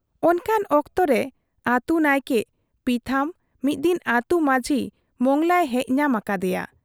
ᱚᱱᱠᱟᱱ ᱚᱠᱛᱚ ᱨᱮ ᱟᱹᱛᱩ ᱱᱟᱭᱠᱮ ᱯᱤᱛᱷᱟᱹᱢ ᱢᱤᱫ ᱫᱤᱱ ᱟᱹᱛᱩ ᱢᱟᱡᱷᱤ ᱢᱚᱸᱜᱽᱞᱟᱭ ᱦᱮᱡ ᱧᱟᱢ ᱟᱠᱟᱫ ᱮᱭᱟ ᱾